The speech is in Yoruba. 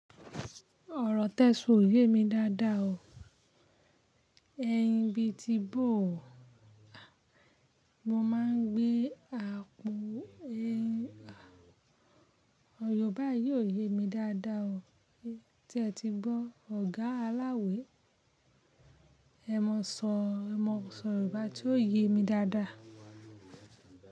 Ọ̀rọ̀ Tẹ́sò yé mi dáadáa o, ẹyin bí i ti bó o. Mo máa ń gbé àpò Yorùbá yii o yé mi dáadáa o. Se ẹ ti gbọ́, ọ̀gá aláwẹ̀ ẹ mọ sọ Yorùbá tí yóò yé mi dáadáa.